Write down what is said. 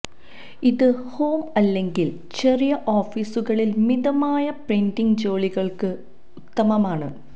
ഇത് ഹോം അല്ലെങ്കിൽ ചെറിയ ഓഫീസുകളിൽ മിതമായ പ്രിന്റിംഗ് ജോലികൾക്ക് ഉത്തമമാണ്